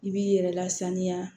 I b'i yɛrɛ lasaniya